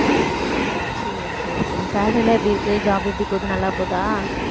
சரி சரி சரி salary எல்லாம் எப்படி இருக்கு job எப்படி போகுது நல்லா போகுதா